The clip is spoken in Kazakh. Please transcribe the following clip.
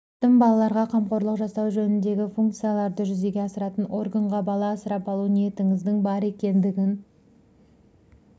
жетім балаларға қамқорлық жасау жөніндегі функцияларды жүзеге асыратын органға бала асырап алу ниетіңіздің бар екендігін